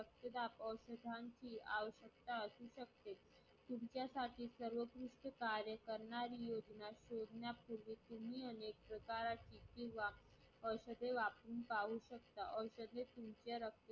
रक्तदाबावर औषधांची आवश्यकता होऊ शकते. तुमच्यासाठी रक्तदाब योजना शोधण्यापूर्वी तुम्ही अनेक प्रकारची किंवा औषधे वापरून पाहू शकता औषधे तुमचे रक्त